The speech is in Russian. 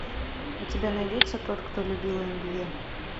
у тебя найдется тот кто любил ингве